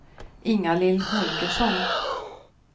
Ingalill Holgersson